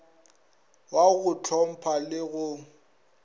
wa go ntlhompha le go